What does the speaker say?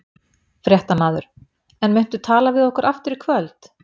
Fréttamaður: En muntu tala við okkur aftur í kvöld?